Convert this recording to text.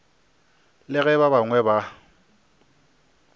le ge ba bangwe ba